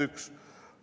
See on punkt üks.